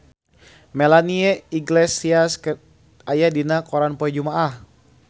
Melanie Iglesias aya dina koran poe Jumaah